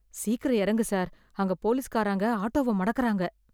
சீக்கிரம் இறங்கு சார், அங்க போலீஸ்காரங்க ஆட்டோவ மடக்குறாங்க.